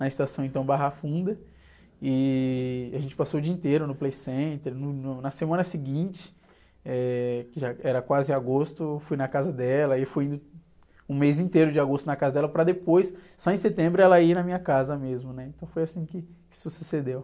na estação, então, Barra Funda, e a gente passou o dia inteiro no Playcenter, no, no, na semana seguinte, eh, que já era quase agosto, fui na casa dela, e fui um mês inteiro de agosto na casa dela, para depois, só em setembro, ela ir na minha casa mesmo, né? Então foi assim que se sucedeu.